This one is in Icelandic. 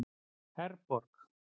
Herborg